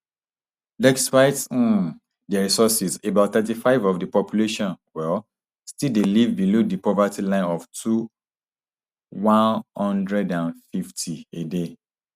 despite um dia resources about thirty-five of di population um still dey live below di poverty line of two one hundred and fifty a day